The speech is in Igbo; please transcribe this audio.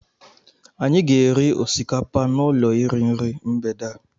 Anyị ga-eri osikapa n'ụlọ iri nri mgbede a.